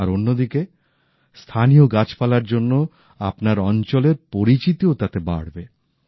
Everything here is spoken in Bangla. আর অন্যদিকে স্থানীয় গাছপালার জন্য আপনার অঞ্চলের পরিচিতিও তাতে বাড়বে